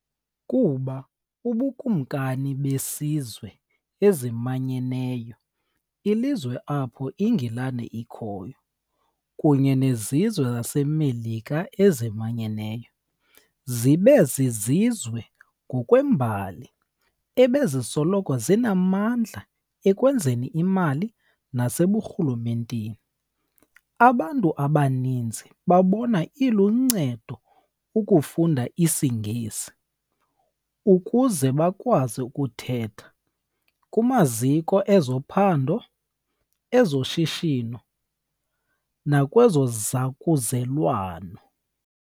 Kuba ubuKumkani bezizwe eziManyeneyo, ilizwe apho iNgilane ikhoyo, kunye nezizwe zaseMelika ezimanyeneyo zibe zizizwe ngokwembali ebezisoloko zinamandla ekwenzeni imali naseburhulumenteni, abantu abaninzi babona iluncedo ukufunda isiNgesi ukuze bakwazi ukuthetha kumaziko ezophando, ezoshishino, nakwezozakuzelwano.